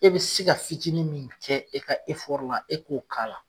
E be se ka fitinin min kɛ e ka efɔri e k'o k'a la